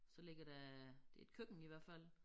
Så ligger der det et køkken i hvert fald